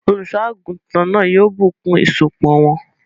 Olùsọ́àgùntàn náà yóò bùnkún ìsopọ̀ wọn